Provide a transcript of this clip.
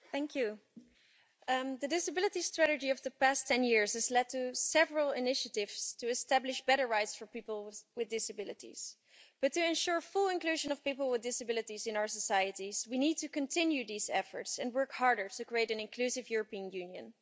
Mr President, the disability strategy of the past 10 years has led to several initiatives to establish better rights for people with disabilities, but to ensure full inclusion of people with disabilities in our societies we need to continue these efforts and work harder to create an inclusive European Union.